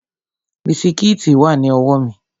Bisikíìtì wà ní ọwọ́ mi